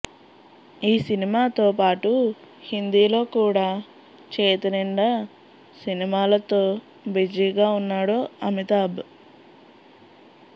ఈ సినిమాతో పాటు హిందీలో కూడా చేతినిండా సినిమాలతో బిజీగా ఉన్నాడు అమితాబ్